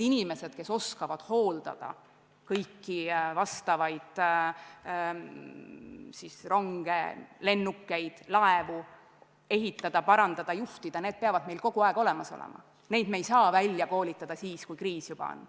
Inimesed, kes oskavad hooldada ronge ja lennukeid, laevu ehitada, parandada, juhtida, peavad meil kogu aeg olemas olema, neid me ei saa välja koolitada siis, kui kriis juba käes on.